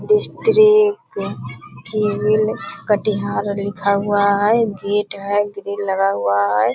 कटिहार लिखा हुआ हैं गेट हैं ग्रिल लगा हुआ हैं